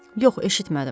Yox, eşitmədim.